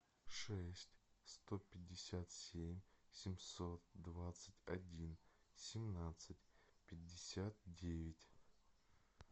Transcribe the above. шесть сто пятьдесят семь семьсот двадцать один семнадцать пятьдесят девять